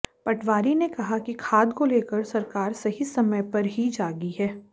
पटवारी ने कहा कि खाद को लेकर सरकार सही समय पर ही जागी है